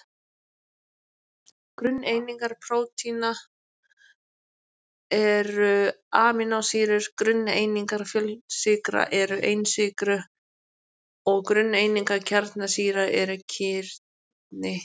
Grunneiningar prótína eru amínósýrur, grunneiningar fjölsykra eru einsykrur og grunneiningar kjarnasýra eru kirni.